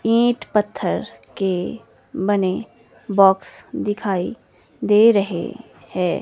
It पत्थर के बने बॉक्स दिखाई दे रहें हैं।